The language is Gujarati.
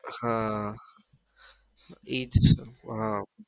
હા ઈ જ હા